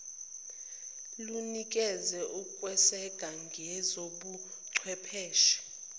lunikeza ukweseka ngezobuchwepheshe